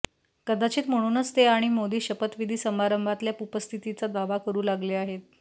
कदाचित म्हणूनच ते आणि मोदी शपथविधी समारंभातल्या उपस्थितीचा दावा करू लागले आहेत